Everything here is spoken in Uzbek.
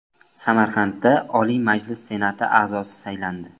Samarqandda Oliy Majlis Senati a’zosi saylandi.